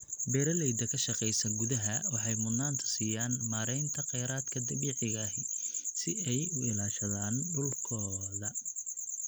Beeraleyda ka shaqeysa gudaha waxay mudnaanta siiyaan maareynta kheyraadka dabiiciga ah si ay u ilaashadaan dhulkooda